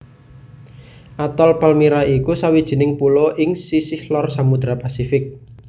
Atol Palmyra iku sawijining pulo ing sisih lor Samudra Pasifik